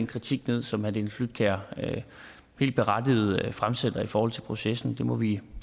kritik ned som herre dennis flydtkjær helt berettiget fremsætter i forhold til processen det må vi